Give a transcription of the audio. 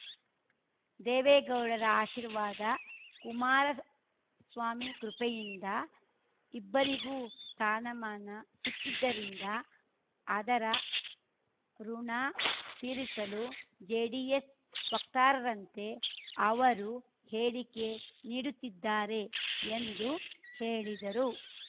ದೇವೇಗೌಡರ ಆಶೀರ್ವಾದ ಕುಮಾರಸ್ವಾಮಿ ಕೃಪೆಯಿಂದ ಇಬ್ಬರಿಗೂ ಸ್ಥಾನಮಾನ ಸಿಕ್ಕಿದ್ದರಿಂದ ಅದರ ಋುಣ ತೀರಿಸಲು ಜೆಡಿಎಸ್‌ ವಕ್ತಾರರಂತೆ ಅವರು ಹೇಳಿಕೆ ನೀಡುತ್ತಿದ್ದಾರೆ ಎಂದು ಹೇಳಿದರು